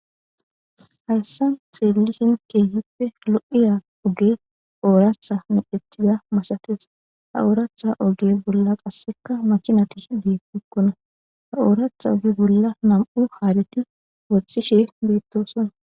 Haysn xelishin kehippe lo'iya ogey oratha medhetida masates ha oratha oge bolla qaseka makinayi yishe betokona daro oratha oge bolla nam'u hareti woxishe betosona